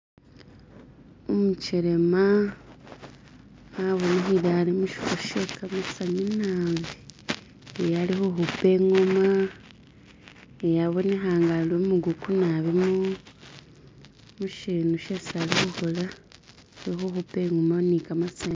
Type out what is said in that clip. Umukasi abonekele ali mu shifo she gamasanyu nabi ee alikukuba ingoma aboneka ali umukugu nabi mu chitu chesi alikukola che kukuba ingoma ni gamasanyu.